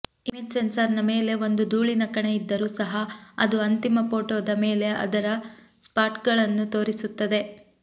image ಸೆನ್ಸಾರ್ನ ಮೇಲೆ ಒಂದು ಧೂಳಿನ ಕಣ ಇದ್ದರೂ ಸಹ ಅದು ಅಂತಿಮ ಫೋಟೋದ ಮೇಲೆ ಅದರ ಸ್ಪಾಟ್ಗಳನ್ನು ತೋರಿಸುತ್ತದೆ